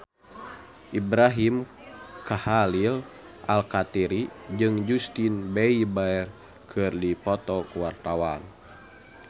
Ibrahim Khalil Alkatiri jeung Justin Beiber keur dipoto ku wartawan